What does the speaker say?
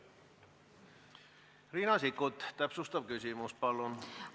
Riina Sikkut, täpsustav küsimus, palun!